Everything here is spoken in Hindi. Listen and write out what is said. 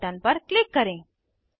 सेव बटन पर क्लिक करें